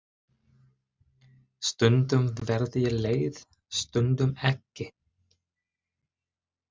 Stundum verð ég leið stundum ekki.